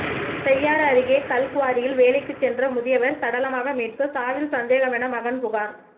செய்யாறு அருகே கல்குவாரியில் வேலைக்கு சென்ற முதியவர் சடலமாக மீட்பு சாவில் சந்தேகம் என மகன் புகார்